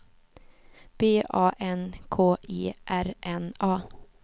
B A N K E R N A